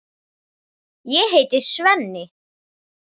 Ég heiti Svenni.